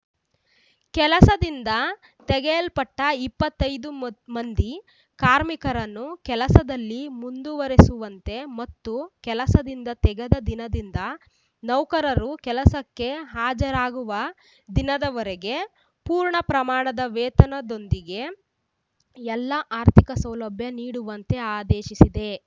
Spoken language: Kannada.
ಕೆಲಸದಿಂದ ತೆಗೆಯಲ್ಪಟ್ಟ ಇಪ್ಪತ್ತೈ ದು ಮ ಮಂದಿ ಕಾರ್ಮಿಕರನ್ನು ಕೆಲಸದಲ್ಲಿ ಮುಂದುವರೆಸುವಂತೆ ಮತ್ತು ಕೆಲಸದಿಂದ ತೆಗೆದ ದಿನದಿಂದ ನೌಕರರು ಕೆಲಸಕ್ಕೆ ಹಾಜರಾಗುವ ದಿನದವರೆಗೆ ಪೂರ್ಣ ಪ್ರಮಾಣದ ವೇತನದೊಂದಿಗೆ ಎಲ್ಲಾ ಆರ್ಥಿಕ ಸೌಲಭ್ಯ ನೀಡುವಂತೆ ಆದೇಶಿಸಿದೆ